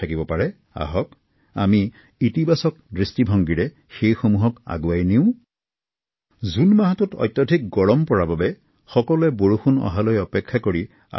জুনত মাহত গ্ৰীষ্ম প্ৰবাহ ইমানেই বৃদ্ধি পাব যে জনসাধাৰণে আকাশৰ ফালে চাই বৰষুণৰ আশা কৰিব